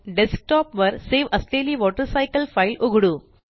desktop वर save असलेली water cycle file उघडू